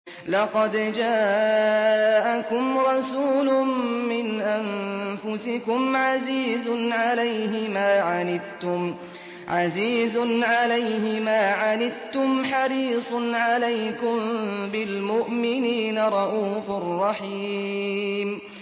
لَقَدْ جَاءَكُمْ رَسُولٌ مِّنْ أَنفُسِكُمْ عَزِيزٌ عَلَيْهِ مَا عَنِتُّمْ حَرِيصٌ عَلَيْكُم بِالْمُؤْمِنِينَ رَءُوفٌ رَّحِيمٌ